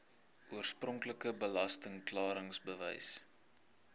oorspronklike belasting klaringsbewys